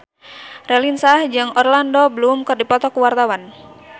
Raline Shah jeung Orlando Bloom keur dipoto ku wartawan